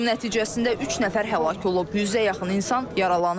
Hücum nəticəsində üç nəfər həlak olub, yüzə yaxın insan yaralanıb.